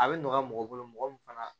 A bɛ nɔgɔya mɔgɔ bolo mɔgɔ min fana